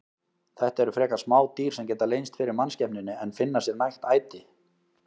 Þetta eru frekar smá dýr sem geta leynst fyrir mannskepnunni en finna sér nægt æti.